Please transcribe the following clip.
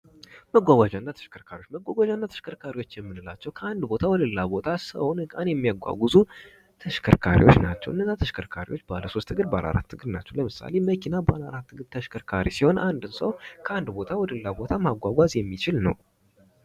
መጓጓዣና ተሽከርካሪዎች መጓጓዣና ተሽከርካሪዎች የምንላቸው ከአንድ ቦታ ወደ ሌላ ቦታ ሰውን እቃን የሚያጓጉዙ ተሽከርካሪዎች ናቸው። እነዛ ተሽከርካሪዎች ባለ ሶስት እግር ባለ አራት እግር ናቸው። ለምሳሌ መኪና ባለ አራት እግር ተሽከርካሪ ሲሆን አንድን ሰው ከአንድ ቦታ ወደሌላ ቦታ ማጓጓዝ የሚችል ነው።